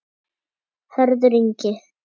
Hörður Ingi.